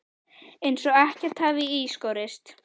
Eins og ekkert hafi í skorist.